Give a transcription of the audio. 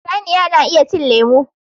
Saniya na iya cin lemu